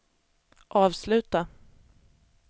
avsluta